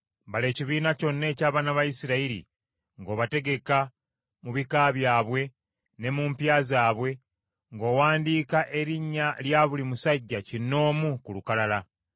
“Bala ekibiina kyonna eky’abaana ba Isirayiri ng’obategeka mu bika byabwe, ne mu mpya zaabwe, ng’owandiika erinnya lya buli musajja kinnoomu ku lukalala.